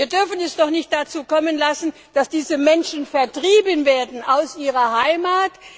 Wir dürfen es doch nicht dazu kommen lassen, dass diese Menschen vertrieben werden aus ihrer Heimat.